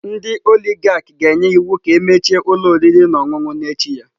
Ndị oligarch ga-enye iwu ka emechie ụlọ oriri na ọṅụṅụ n'echi ya.